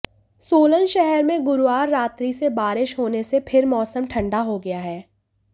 सोलन शहर में गुरुवार रात्रि से बारिश होने से फिर मौसम ठंडा हो गया है